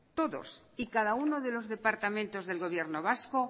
todos y cada uno de los departamentos del gobierno vasco